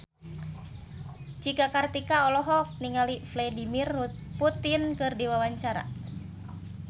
Cika Kartika olohok ningali Vladimir Putin keur diwawancara